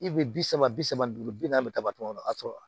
I bɛ bi saba bi saba duuru bi naani bɛ tabatɔnɔ o y'a sɔrɔ